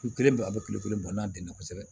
Kulu kelen bɔ a bɛ kulikorole bɔ n'a denna kosɛbɛ